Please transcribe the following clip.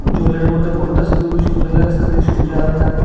জলের মধ্যে পড়তাছে খুবই সুন্দর লাগসাসে সূর্যের আলোটা।